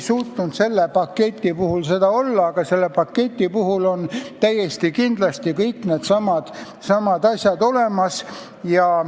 Selles paketis on täiesti kindlasti kõik needsamad asjad olemas.